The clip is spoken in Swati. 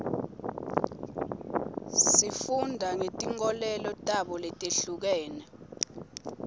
sifunda ngetinkolelo tabo letihlukene